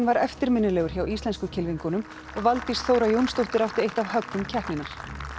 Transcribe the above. var eftirminnilegur hjá íslensku kylfingunum og Valdís Þóra Jónsdóttir átti eitt af höggum keppninnar